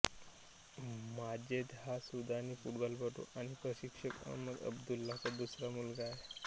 माजेद हा सुदानी फुटबॉलपटू आणि प्रशिक्षक अहमद अब्दुल्लाचा दुसरा मुलगा आहे